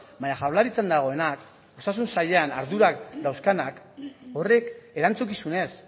baina jaurlaritzan dagoenak osasun sailean ardurak dauzkanak horrek erantzukizunez